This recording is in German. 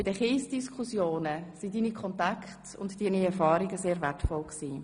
Bei den Kiesdiskussionen waren deine Kontakte und deine Erfahrungen sehr wertvoll.